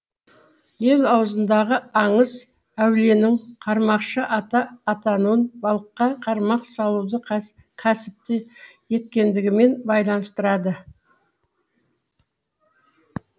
ел аузындағы аңыз әулиенің қармақшы ата атануын балыққа қармақ салуды кәсіп еткендігімен байланыстырады